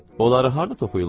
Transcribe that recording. Onları harda toxuyurlar?